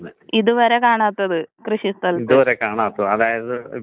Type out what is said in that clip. കാണാറുണ്ട്, വരാറുണ്ട്. പക്ഷെ, അതൊക്കെ എന്‍റടുത്താണങ്കി റെയർ ആണ്.